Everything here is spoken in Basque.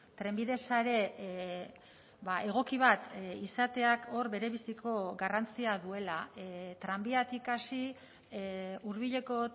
trenbide sare egoki bat izateak hor berebiziko garrantzia duela tranbiatik hasi hurbileko